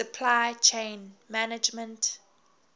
supply chain management